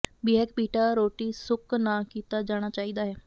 bake pita ਰੋਟੀ ਸੁੱਕ ਨਾ ਕੀਤਾ ਜਾਣਾ ਚਾਹੀਦਾ ਹੈ